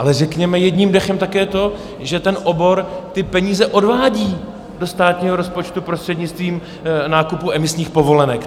Ale řekněme jedním dechem také to, že ten obor ty peníze odvádí do státního rozpočtu prostřednictvím nákupu emisních povolenek.